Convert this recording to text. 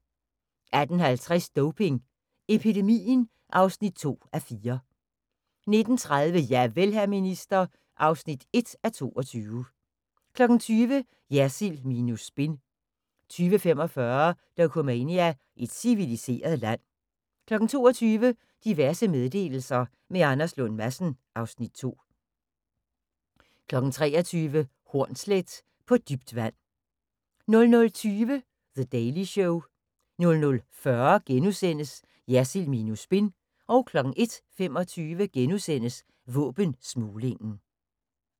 18:50: Doping epidemien (2:4) 19:30: Javel, hr. minister (1:22) 20:00: Jersild minus spin 20:45: Dokumania: Et civiliseret land 22:00: Diverse meddelelser – med Anders Lund Madsen (Afs. 2) 23:00: Hornsleth – På Dybt Vand 00:20: The Daily Show 00:40: Jersild minus spin * 01:25: Våbensmuglingen *